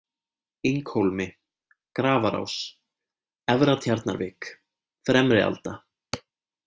Inghólmi, Grafarás, Efra-Tjarnarvik, Fremrialda